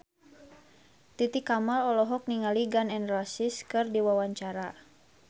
Titi Kamal olohok ningali Gun N Roses keur diwawancara